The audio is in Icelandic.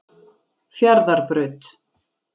Fjarðarbraut